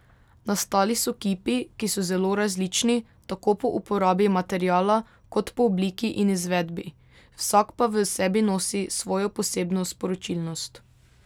Nastali so kipi, ki so zelo različni, tako po uporabi materiala, kot po obliki in izvedbi, vsak pa v sebi nosi svojo posebno sporočilnost.